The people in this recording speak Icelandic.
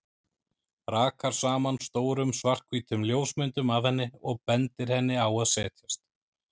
Rakar saman stórum, svarthvítum ljósmyndum af henni og bendir henni á að setjast.